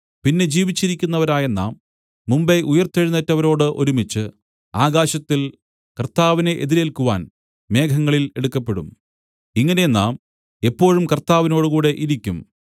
പിന്നെ ജീവിച്ചിരിക്കുന്നവരായ നാം മുമ്പെ ഉയിർത്തെഴുന്നേറ്റവരോട് ഒരുമിച്ചു ആകാശത്തിൽ കർത്താവിനെ എതിരേൽക്കുവാൻ മേഘങ്ങളിൽ എടുക്കപ്പെടും ഇങ്ങനെ നാം എപ്പോഴും കർത്താവിനോടുകൂടെ ഇരിക്കും